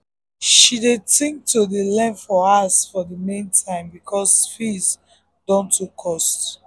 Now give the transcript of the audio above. she dey think to dey learn for house for the main time because fees dun too cost